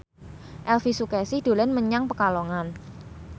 Elvy Sukaesih dolan menyang Pekalongan